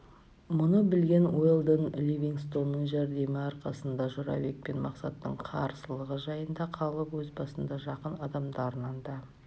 мұны білген уэлдон ливингстонның жәрдемі арқасында жорабек пен мақсаттың қарсылығы жайына қалып өз басына жақын адамдарына да